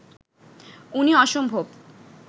উনি অসম্ভব